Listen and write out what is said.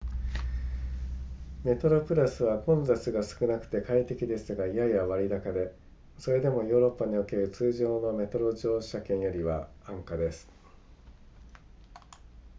メトロプラスは混雑が少なくて快適ですがやや割高でそれでもヨーロッパにおける通常のメトロ乗車券よりは安価です